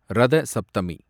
Ratha Saptami